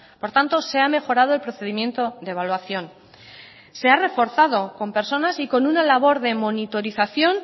por tanto se ha mejorado el procedimiento de evaluación se ha reforzado con personas y con una labor de monitorización